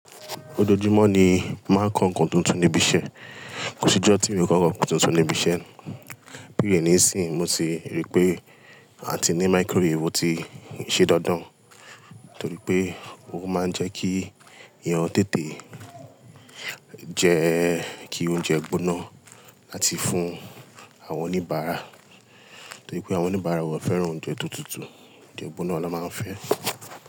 Ojoojúmó ni mo máa ń kó nǹkan tuntun ní ibi iṣẹ́. Kò sí ọjó tí mi ò kó nǹkan tuntun ní ibi iṣẹ́. Pẹlu èyí nísìyí, mo sì ríi pé a ti ní microwave tí iṣẹ́ dandan, torípé ó máa ń jẹ kí eeyán tètè, jẹ kí oúnjẹ gbóná láti fún àwọn onibara, torípé àwọn onibara wọ́n ò fẹ́ràn oúnjẹ tó tútù, oúnjẹ gbóná ló má ń fẹ.